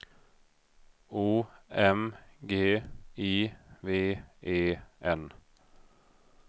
O M G I V E N